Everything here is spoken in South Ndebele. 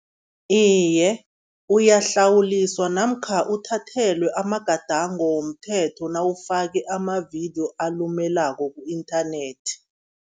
Iye, uyahlawuliswa namkha uthathelwe amagadango womthetho nawufake amavidiyo alumelako ku-inthanethi.